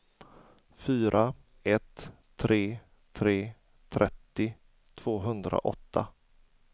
fyra ett tre tre trettio tvåhundraåtta